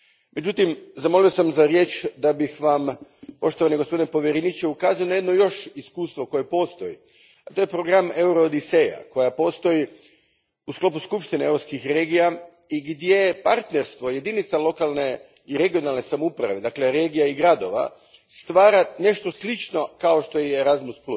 Međutim, zamolio sam za riječ da bih Vam, poštovani gospodine povjereniče, ukazao na još jedno iskustvo koje postoji, a to je program Euroodiseja, koji postoji u sklopu Skupštine europskih regija i gdje partnerstvo jedinica lokalne i regionalne samouprave, dakle regija i gradova, stvara nešto slično kao što je Erasmus.